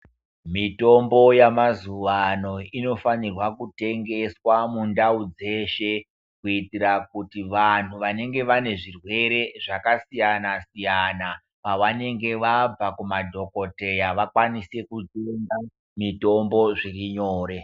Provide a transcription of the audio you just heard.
Mitombo yemazuwa ano inofanire kutengeswa mundau dzeshe kuitira kuti vanhu vanenge vane zvirwere zvakasiyanasiyana pavanenge vabva kumadhokodheya vakwanise kutenga mitombo zvirinyore.